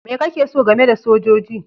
Me kake so game da sojoji?